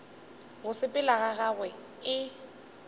go sepela ga gagwe e